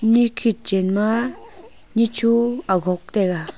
nikhet chen ma nitho agog taiga.